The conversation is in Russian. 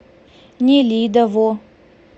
нелидово